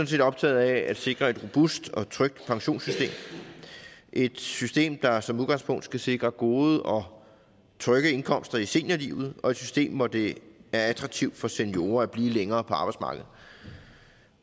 set optaget af at sikre et robust og trygt pensionssystem et system der som udgangspunkt skal sikre gode og trygge indkomster i seniorlivet og et system hvor det er attraktivt for seniorer at blive længere på arbejdsmarkedet